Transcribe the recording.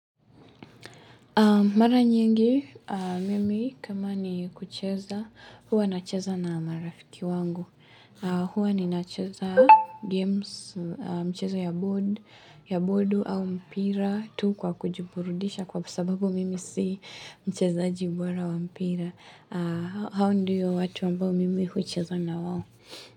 Mara nyingi, mimi kama ni kucheza, huwa nacheza na marafiki wangu. Huwa nacheza games, mchezo ya board, ya board au mpira tu kwa kujiburudisha kwa sababu mimi si mchezaji bora wa mpira. Hawa ndiyo watu ambao mimi kucheza na wao.